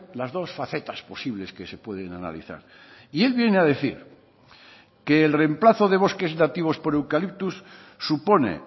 las dos facetas posibles que se pueden analizar y él viene a decir que el remplazo de bosques nativos por eucalyptus supone